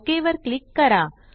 OKवर क्लिक करा